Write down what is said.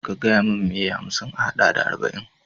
Ka gayamin mai ye hamsin a haɗa da arba'in?